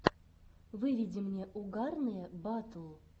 выведи мне угарные батл